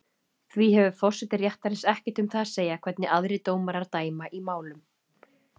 Því hefur forseti réttarins ekkert um það að segja hvernig aðrir dómarar dæma í málum.